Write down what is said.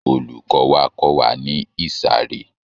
Olùkọ wa kọ́ wa ní ìsàré.